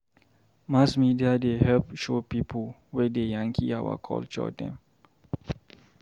Mass media dey help show pipo wey dey yankee our culture dem.